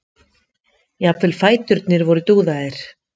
Jafnvel fæturnir voru dúðaðir.